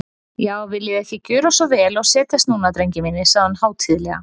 Já, viljiði ekki gjöra svo vel og setjast núna, drengir mínir, sagði hún hátíðlega.